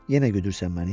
Yenə güdürsən məni?